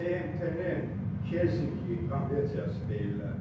BMT-nin Helsinki konvensiyası deyil.